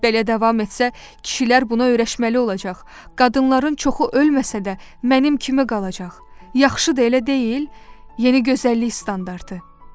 Belə davam etsə, kişilər buna öyrəşməli olacaq, qadınların çoxu ölməsə də, mənim kimi qalacaq, yaxşı da elə deyil, yeni gözəllik standartı.